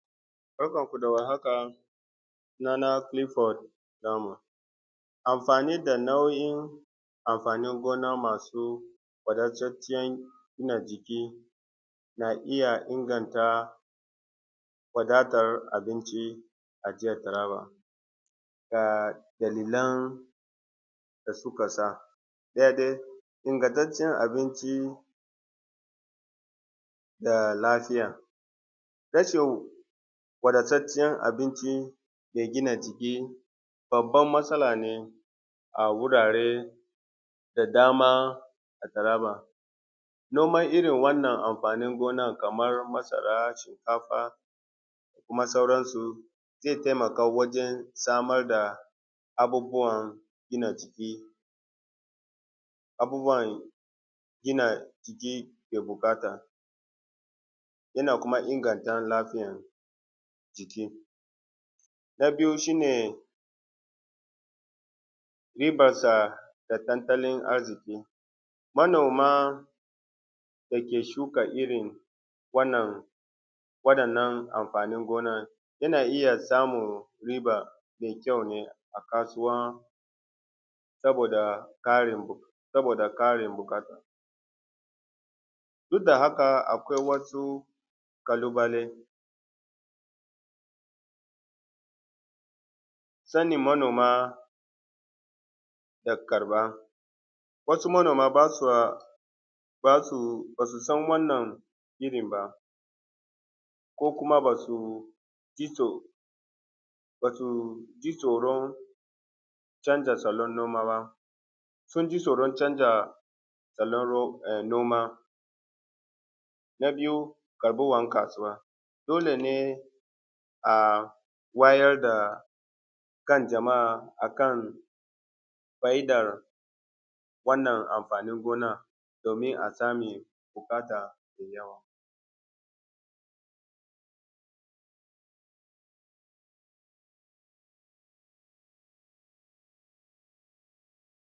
Barkanmu da warhaka sunana Kilifod Namu amfani da nau’in amfani gona masu sa a su wadantacciyan gina jiki na iya inganta wadatar abinci a jiyan nama ga in nan da suka sa da ya dai ingantacciyan abinci da lafiya rashin wadataccinyan abinci maigina jiki babban matsala ne a wuraren da dama. A Taraba noman irin wannan amfanin gonan kamar masara, shinkfa da kuma sauransu ze taimaka wajen samar da abubuwan gina jiki, abubuwan gina jiki ke buƙata yana kuma inganta lafiyan jiki, na biyu shi ne dibarsa da tattalin arziki, manoma da ke shuka irin wannan waɗanan amfanin gonan yana iya samun riba mai kyau ne a kasuwa saboda ƙarin saboda ƙarin buƙata duk da haka akwai wasu ƙalubale, sanin manoma da karfa wasu manoma ba su ba su ba su san kala wannan irin ba ko kuma ba su iso ba su ji tsoron canza salon noma ba sun ji tsoron canza salon noma, na biyu al’umman kasuwa dole ne.